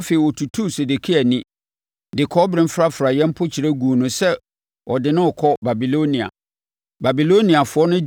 Afei ɔtutuu Sedekia ani, de kɔbere mfrafraeɛ mpokyerɛ guu no sɛ ɔde no rekɔ Babilonia.